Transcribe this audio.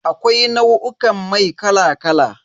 Akwai nau'in mai kala kala.